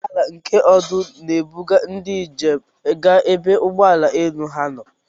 Ụgbọala nke ọdụ n'ebuga ndị ijem ga ebe ụgbọelu ha nọ.